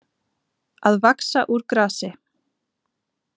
Að vaxa úr grasi